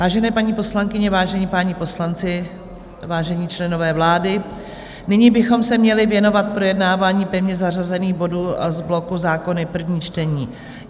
Vážené paní poslankyně, vážení páni poslanci, vážení členové vlády, nyní bychom se měli věnovat projednávání pevně zařazených bodů z bloku Zákony - první čtení.